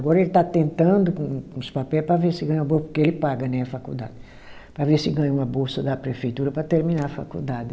Agora ele está tentando com com os papéis para ver se ganha uma bolsa, porque ele paga né a faculdade, para ver se ganha uma bolsa da prefeitura para terminar a faculdade.